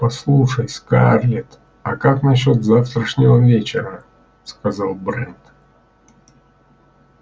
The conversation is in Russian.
послушай скарлетт а как насчёт завтрашнего вечера сказал брент